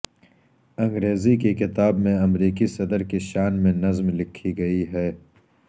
انگریزی کی کتاب میں امریکی صدر کی شان میں نظم لکھی گئی ہے